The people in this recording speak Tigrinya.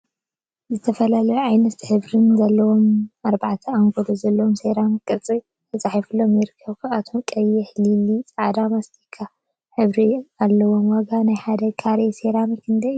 ዝተፈላለዩ ዓይነትን ሕብሪን ዘለዎም አርባዕተ አንጎሎ ዘለዎም ሰራሚክ ቅርፂ ተፃሒፍሎም ይርከቡ፡፡ ካብዚኦም ቀይሕ፣ ሊላ፣ ፃዕዳን ማስቲካን ሕብሪ አለዎም፡፡ ዋጋ ናይ ሓደ ካሬ ሰራሚክ ክንደይ እዩ?